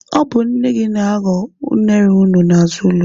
Ọ bụ nne gị na-aghọ unere unu n'azụ ụlọ.